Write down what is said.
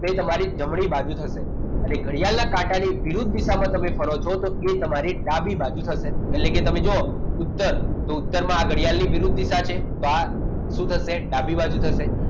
એ તમારી જમણી બાજુ થશે એટલે કે ઘડિયાળના કાંટાની વિરુદ્ધ દિશામાં તમે ફરો છો તો એ તમારી ડાબી બાજુ થશે એટલે કે તમે જો ઉત્તરમાં ઘડિયાળની વિરુદ્ધ દિશા છે તો આ શું થશે ડાબી બાજુ થશે